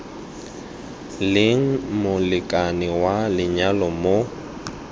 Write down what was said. leng molekane wa lenyalo mo